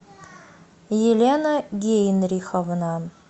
елена генриховна